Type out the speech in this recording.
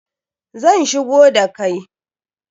Zan shigo da kai